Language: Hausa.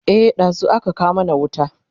e ɗazun aka kawo mana wuta